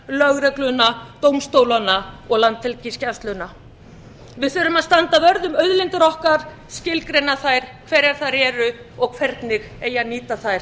lögregluna dómstólana og landhelgisgæsluna við þurfum að standa vörð um auðlindir okkar skilgreina þær hverjar þær eru og hvernig eigi að nýta þær